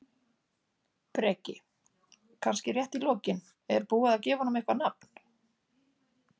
Breki: Kannski rétt í lokin, er búið að gefa honum eitthvað nafn?